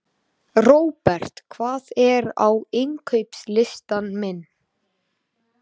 Robert, hvað er á innkaupalistanum mínum?